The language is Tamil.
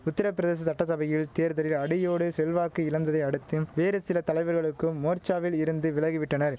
உத்திரப்பிரதேச சட்டசபையில் தேர்தலில் அடியோடு செல்வாக்கு இழந்ததை அடுத்தும் வேறு சில தலைவர்களுக்கும் மோர்ச்சாவில் இருந்து விலகி விட்டனர்